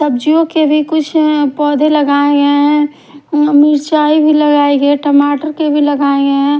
सब्जियों के भी कुछ पोधे लगाये गये है अम्म मिर्चियाई भी लगाई गिये टमाटर के भी लगाये गये है।